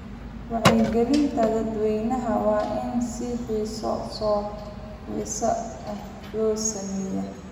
Wacyigelinta dadweynaha waa in si xiiso leh loo sameeyaa.